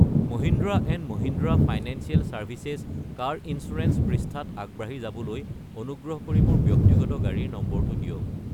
Mahindra and Mahindra financial services car insurance পৃষ্ঠাত আগবাঢ়ি যাবলৈ অনুগ্ৰহ কৰি মোৰ ব্যক্তিগত গাড়ীৰ নম্বৰটো দিয়ক।